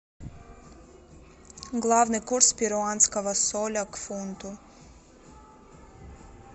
главный курс перуанского соля к фунту